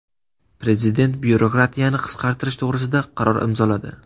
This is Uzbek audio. Prezident byurokratiyani qisqartirish to‘g‘risida qaror imzoladi.